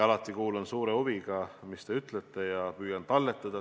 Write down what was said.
Ma kuulan alati suure huviga, mida te ütlete, ja püüan seda talletada.